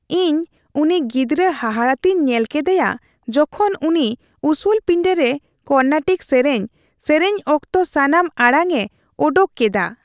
ᱤᱧ ᱩᱱᱤ ᱜᱤᱫᱨᱟᱹ ᱦᱟᱦᱟᱲᱟ ᱛᱮᱧ ᱧᱮᱞ ᱠᱮᱫᱮᱭᱟ ᱡᱚᱠᱷᱚᱱ ᱩᱱᱤ ᱩᱥᱩᱞ ᱯᱤᱸᱰᱟᱹᱨᱮ ᱠᱚᱨᱱᱟᱴᱤᱠ ᱥᱮᱨᱮᱧ ᱥᱮᱨᱮᱧ ᱚᱠᱛᱚ ᱥᱟᱱᱟᱢ ᱟᱲᱟᱝᱼᱮ ᱳᱰᱳᱠ ᱠᱮᱫᱟ ᱾